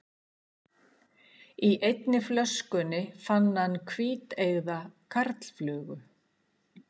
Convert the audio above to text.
Í einni flöskunni fann hann hvíteygða karlflugu.